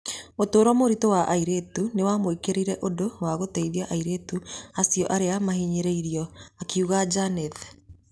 Ũtũro mũritũ wa airĩtu aingĩ nĩwamũĩkĩrire ũndũ wa gũteithia airĩtu acio arĩa marahinyĩrĩrio’’ akiuga Janeth